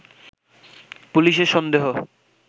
পুলিশের সন্দেহ